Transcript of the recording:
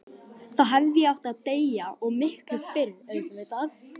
Þá hefði ég átt að deyja, og miklu fyrr auðvitað.